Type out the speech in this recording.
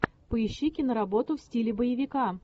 поищи киноработу в стиле боевика